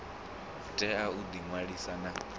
tea u ḓi ṅwalisa na